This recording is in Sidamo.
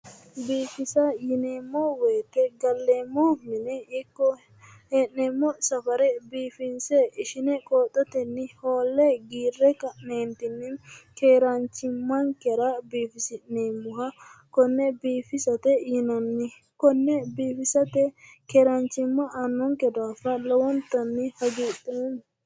Biiffisa yineemmo weete galeemmo mine iko hee'neemmonsafare biiffinse ishine qooxotenni hoolle giirre ka'neentinni keeraanchimmankera biifisi'neemmoha konne boiffisate yinanni konne biiffisate keeraanchima aannonke daafira lowontanni hagidheema